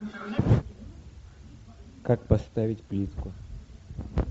как поставить плитку